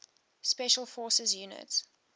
special forces units